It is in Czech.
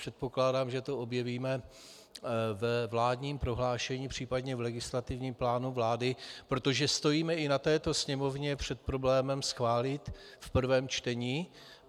Předpokládám, že to objevíme ve vládním prohlášení, případně v legislativním plánu vlády, protože stojíme i na této sněmovně před problémem schválit v prvém čtení...